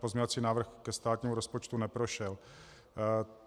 pozměňovací návrh ke státnímu rozpočtu neprošel.